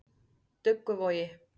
Dugguvogi